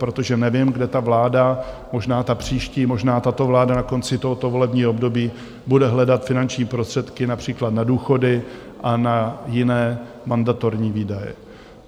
Protože nevím, kde ta vláda, možná ta příští, možná tato vláda na konci tohoto volebního období, bude hledat finanční prostředky například na důchody a na jiné mandatorní výdaje.